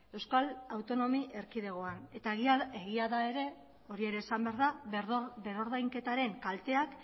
euskal autonomi erkidegoan eta egia da ere hori ere esan behar da berrordainketaren kalteak